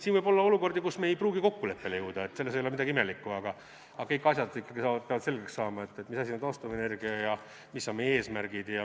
Siin võib olla olukordi, kus me ei pruugi kokkuleppele jõuda, selles ei ole midagi imelikku, aga kõik asjad ikkagi peavad selgeks saama, et mis asi on taastuvenergia ja mis on meie eesmärgid.